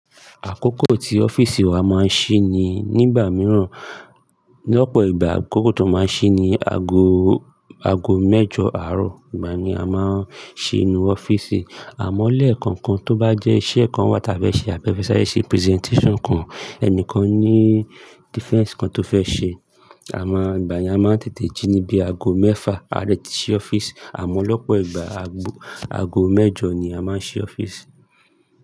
Àkókò tí ọ́fíìsì wa máa ń ṣí ni nígbà mìíràn. Lọ́pọ̀ ìgbà àkókò tó máa ń ṣí ni ago, ago mẹ́jọ àárọ̀. Ìgbà ni a máa ń ṣí inú ọ́fíìsì. Àmọ́ lekankan tó bá jẹ́ iṣẹ́ kan wa tà fe ṣe abi a fe ṣàre ṣe presentation kan, ẹnìkan ní defense kan tó fẹ́ ṣe, a máa ìgbàyen a máa ń tètè jí níbi ago mẹ́fà, a de tìí ṣí ọ́fíìsì. Àmọ́ lọ́pọ̀ ìgbà, ago, ago mẹ́jọ ni a máa ń ṣí ọ́fíìsì.